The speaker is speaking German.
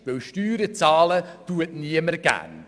Denn Steuern zahlen tut niemand gern.